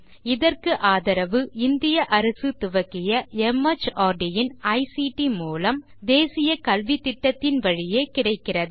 இதற்கு ஆதரவு இந்திய அரசு துவக்கிய மார்ட் இன் ஐசிடி மூலம் தேசிய கல்வித்திட்டத்தின் வழியே கிடைக்கிறது